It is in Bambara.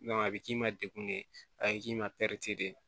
a bɛ k'i ma dekun ye a ye k'i ma de